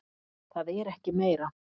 Það er ekki meira.